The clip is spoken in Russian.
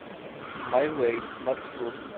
май вэй маршрут